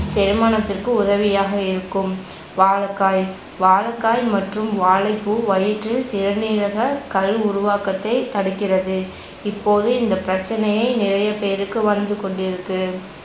திருமணத்திற்கு உதவியாக இருக்கும் வாழைக்காய் வாழைக்காய் மற்றும் வாழைப்பூ வயிற்றில் சிறுநீரக கல் உருவாக்கத்தை தடுக்கிறது இப்போது இந்த பிரச்சனையே நிறைய பேருக்கு வந்துகொண்டிருக்கு